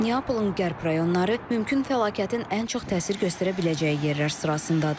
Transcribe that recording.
Neapolun qərb rayonları mümkün fəlakətin ən çox təsir göstərə biləcəyi yerlər sırasındadır.